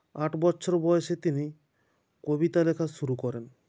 আট বচ্ছর বয়সে তিনি কবিতা লেখা শুরু করেন